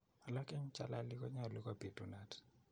Alak en chelali konyalu ko bitunat.